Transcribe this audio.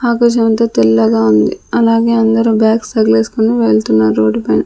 ఆకాశమంతా తెల్లగా ఉంది అలాగే అందరు బ్యాగ్స్ తగిలేసుకొని వెళ్తున్నారు రోడ్డు పైన.